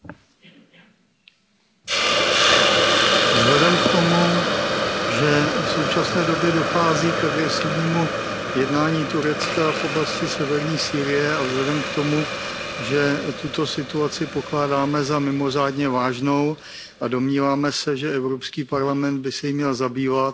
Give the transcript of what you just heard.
Pane předsedající, vhledem k tomu, že v současné době dochází k agresivnímu jednání Turecka v oblasti severní Sýrie, a vzhledem k tomu, že tuto situaci pokládáme za mimořádně vážnou a domníváme se, že EP by se jí měl zabývat,